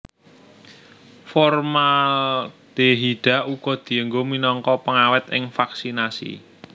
Formaldehida uga dianggo minangka pengawèt ing vaksinasi